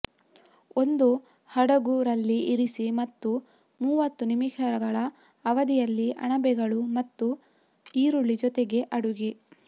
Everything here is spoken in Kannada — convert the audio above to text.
ಒಂದು ಹಡಗು ರಲ್ಲಿ ಇರಿಸಿ ಮತ್ತು ಮೂವತ್ತು ನಿಮಿಷಗಳ ಅವಧಿಯಲ್ಲಿ ಅಣಬೆಗಳು ಮತ್ತು ಈರುಳ್ಳಿ ಜೊತೆಗೆ ಅಡುಗೆ